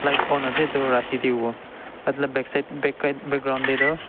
light bon ase etu rati tae hovo backside backlight background tae toh.